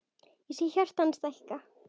Ég sé hjarta hans stækka.